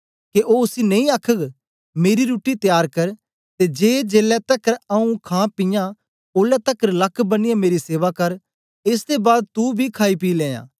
के ओ उसी नेई आखघ मेरी रुट्टी त्यार कर ते जे जेलै तकर आऊँ खांपीयां ओलै तकर लक्क बनिए मेरी सेवा कर एस दे बाद तू बी खाई पी लेयां